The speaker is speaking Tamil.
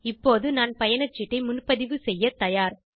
இப்போது நான் பயணச்சீட்டை முன்பதிவு செய்ய தயார்